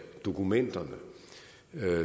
dokumenterne